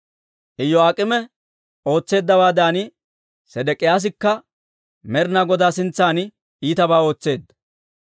Iyo'aak'eemi ootseeddawaadan, Sedek'iyaasikka Med'ina Godaa sintsan iitabaa ootseedda.